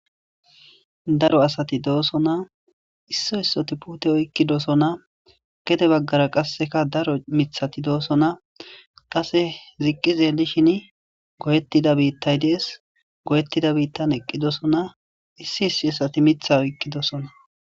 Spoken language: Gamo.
Daro asati doosona. Isso issoti puute oykkidosona. Geďe baggara qasseka daro miththati doosona. Qasse ziqqi xeelishin goyettida biittay dees. Goyetida biittan eqqidosona. Issi issi asati miththa oykkidosona.